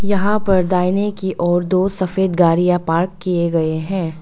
यहां पर दाहिने की ओर दो सफेद गाड़िया पार्क किए गए है।